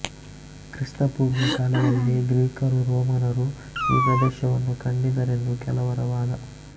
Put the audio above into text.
ಕ್ರಿಸ್ತಪೂರ್ವ ಕಾಲದಲ್ಲೇ ಗ್ರೀಕರೂ ರೋಮನರೂ ಈ ಪ್ರದೇಶವನ್ನು ಕಂಡಿದ್ದರೆಂದು ಕೆಲವರ ವಾದ